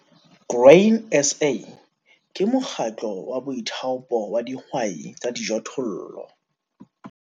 Grain SA ke mokgatlo wa boithaopo wa dihwai tsa dijothollo.